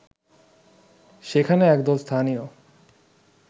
সেখানে একদল স্থানীয়